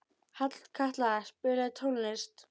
Hallkatla, spilaðu tónlist.